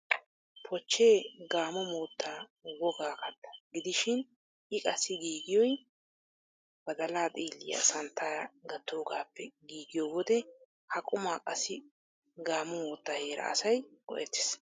Pochchee gamo moottaa wogaa katta gidishin I qassi giigiyoy badalaa xiilliya santtaara gattoogaappe giigiyo wode ha qumaa qassi gamo moottaa heeraa asay go'ettees.